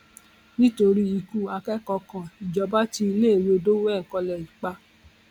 nítorí ikú akẹkọọ kan ìjọba tí iléèwé dowen college pa